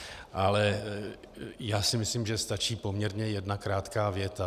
Ale já si myslím, že stačí poměrně jedna krátká věta.